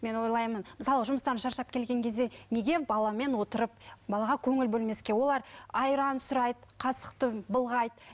мен ойлаймын мысалы жұмыстан шаршап келген кезде неге баламен отырып балаға көңіл бөлмеске олар айран сұрайды қасықты былғайды